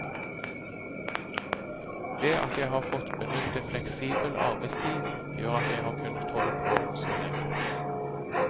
Det at jeg har fått benytte fleksibel arbeidstid gjør at jeg har kunne holde på så lenge.